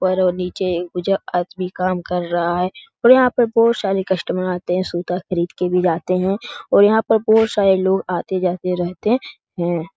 ऊपर और नीचे कुछ आदमी काम कर रहा है और यहाँ पे बहुत सारे कस्टमर आते हैं सुता खरीद के भी जाते हैं और यहाँ पर बहुत सारे लोग आते-जाते रहते हैं ।